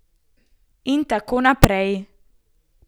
In tako naprej.